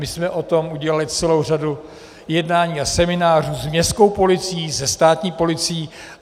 My jsme o tom udělali celou řadu jednání a seminářů s městskou policií, se státní policií.